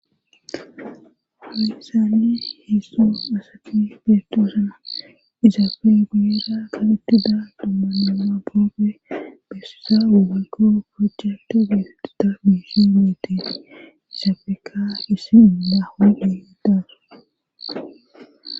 Farisaanni heesso asati bettoosana izaafe guyera qalittida dumma nama boope bessisa ugaykoo pocati geefitida biisi miiti izaafeeka issi ila hoodhedaasu.